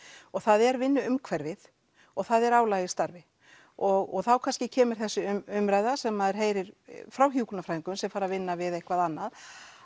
og það er vinnuumhverfið og það er álag í starfi og þá kannski kemur þessi umræða sem að maður heyrir frá hjúkrunarfræðingum sem fara að vinna við eitthvað annað